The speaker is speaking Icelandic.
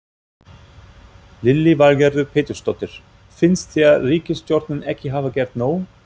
Lillý Valgerður Pétursdóttir: Finnst þér ríkisstjórnin ekki hafa gert nóg?